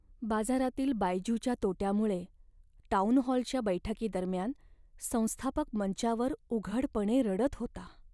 बाजारातील बायजूच्या तोट्यामुळे टाऊनहॉलच्या बैठकीदरम्यान संस्थापक मंचावर उघडपणे रडत होता.